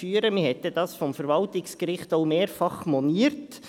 Man hat dies vonseiten der Verwaltungsgerichts auch mehrfach moniert.